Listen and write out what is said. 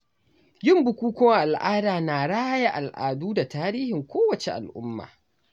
Yin bukukuwan al’ada na raya al’adu da tarihin kowace al'umma.